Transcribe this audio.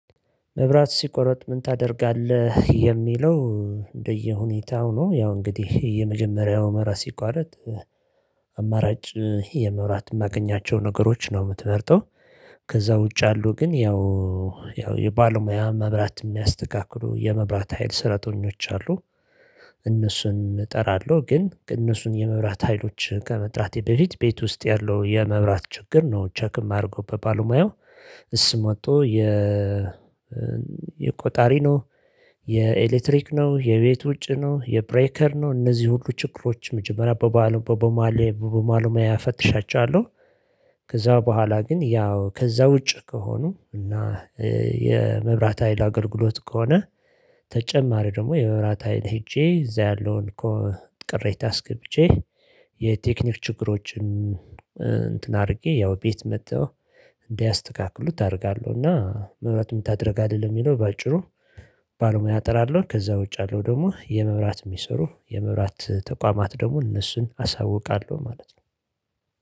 መብራት ሲቋረጥ ምን ታደርጋለህ? የሚለው እንደየሁኔታው ነው ያው እንግዲህ የመጀመሪያው መብራት ሲቋረጥ አማራጭ የመብራት የማገኛቸውን ነገሮች ነው የምትመርጠው። ከዛ ውጭ አሉ። ግን ያው ያው የባለሙያ መብራት የሚያስተካክሉ የመብራት ሀይል ስረተኞች አሉ። እነሱን እጠራለሁ ግን እነሱን የመብራት ሀይሎች ከመጥራቴ በፊት ቤት ውስጥ ያለው የመብራት ችግር ነው ቸክ ማረገው በባለሙያው። እሱም ወጥቶ የ የቆጣሪ ነው። የኤሌትሪክ ነው የቤት ውጭ ነው። የብሬከር ነው። እነዚህ ሁሉ ችግሮችን መጀመሪያ በባለ በባለ በባለ ሞያ ፈትሻቸዋለሁ። ከዛ በኋላ ግን ያው ከዛ ውጭ ከሆኑ እና የመብራት ሀይል አገልግሎት ከሆነ። ተጨማሪ ደግሞ የመብራት ሀይል ሄጄ እዛ ያለውን እኮ ቅሬታ አስገብቼ የቴክኒክ ችግሮችን እንትን አድርጌ ያው ቤት መጥተው እንዲያስተካክሉት አደርጋለሁ። እና መብራት ምን ታደርጋለህ? ለሚለው በአጭሩ ባለሞያ እጠራለሁ። ከዛ ውጭ ያለው ደግሞ የመብራት የሚሰሩ የመብራት ተቋማት ደግሞ እነሱን አሳውቃለሁ ማለት ነው።